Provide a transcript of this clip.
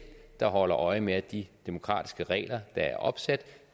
der holder øje med at de demokratiske regler der er opsat